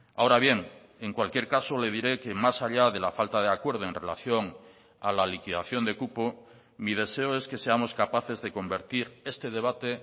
ahora bien en cualquier caso le diré que más allá de la falta de acuerdo en relación a la liquidación de cupo mi deseo es que seamos capaces de convertir este debate